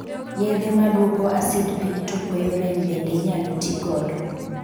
Yedhe madwoko asid piny to kweyo rem bende inyalo tigodo.